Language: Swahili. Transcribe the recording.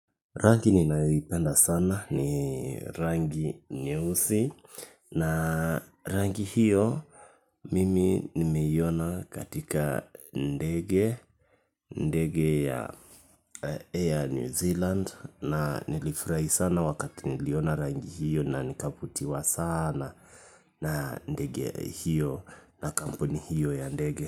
Rangi ninayoipenda sana ni rangi nyeusi na rangi hiyo mimi nimeiona katika ndege. Ndege ya Air New Zealand na nilifurahi sana wakati niliona rangi hiyo na nikavutiwa sana. Na ndege iyo na kampuni iyo ya ndege.